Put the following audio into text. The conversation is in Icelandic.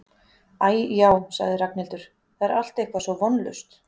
Æ, já sagði Ragnhildur, það er allt eitthvað svo vonlaust